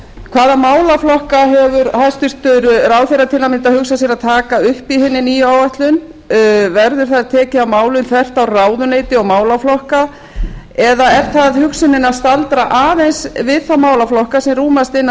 hvaða málaflokka hefur hæstvirtur ráðherra til að mynda hugsað sér að taka upp í hinni nýju áætlun verður þar tekið á málum þvert á ráðuneyti og málaflokka eða er það hugsunin að staldra aðeins við þá málaflokka sem rúmast innan